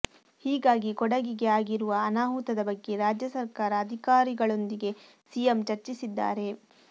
ಹೀಗಾಗಿ ಕೊಡಗಿಗೆ ಆಗಿರುವ ಅನಾಹುತದ ಬಗ್ಗೆ ರಾಜ್ಯ ಸರ್ಕಾರ ಅಧಿಕಾರಿಗಳೊಂದಿಗೆ ಸಿಎಂ ಚರ್ಚಿಸಿದ್ದಾರೆ